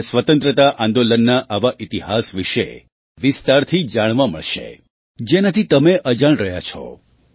તમને સ્વતંત્રતા આંદોલનના આવા ઇતિહાસ વિશે વિસ્તારથી જાણવા મળશે જેનાથી તમે અજાણ રહ્યા છો